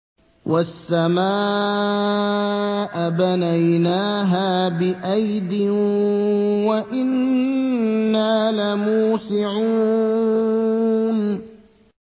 وَالسَّمَاءَ بَنَيْنَاهَا بِأَيْدٍ وَإِنَّا لَمُوسِعُونَ